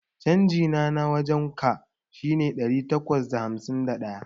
Changina na wajan ka shine ɗari takwas da hamsin da ɗaya.